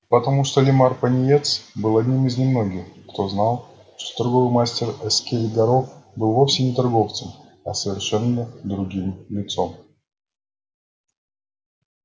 потому что лиммар пониетс был одним из немногих кто знал что торговый мастер эскель горов был вовсе не торговцем а совершенно другим лицом